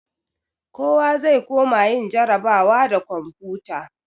Kowa zai koma yin jarrabawa da komfuta.